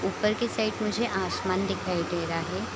ऊपर के साइड मुझे आसमान दिखाई दे रहा है।